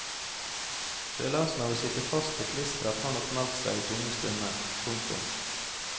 Følelsen av å sitte fast i klisteret har nok meldt seg i tunge stunder. punktum